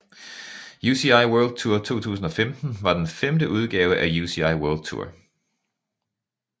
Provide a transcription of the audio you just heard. UCI World Tour 2015 var den femte udgave af UCI World Tour